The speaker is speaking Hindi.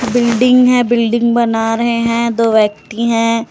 बिल्डिंग है बिल्डिंग बना रहे हैं दो व्यक्ति हैं।